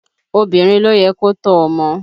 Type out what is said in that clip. Obìnrin ló yẹ kó tọ́ ọmọ